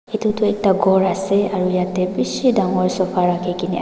etu toh ekta ghor ase aru yate bishi dangor sofa rakhina.